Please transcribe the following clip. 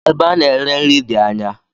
Ebe ana ere nri di ányá.